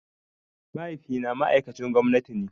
Mahaifi na ma'aikcin gwamnati ne